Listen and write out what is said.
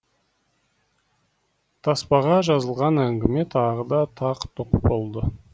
таспаға жазылған әңгіме тағы да тақ тұқ болды